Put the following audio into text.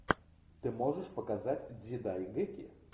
ты можешь показать дзидайгэки